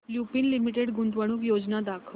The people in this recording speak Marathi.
लुपिन लिमिटेड गुंतवणूक योजना दाखव